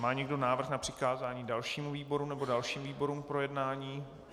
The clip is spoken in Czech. Má někdo návrh na přikázání dalšímu výboru nebo dalším výborům k projednání?